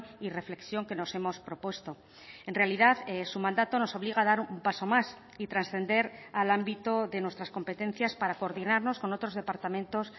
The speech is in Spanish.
y reflexión que nos hemos propuesto en realidad su mandato nos obliga a dar un paso más y trascender al ámbito de nuestras competencias para coordinarnos con otros departamentos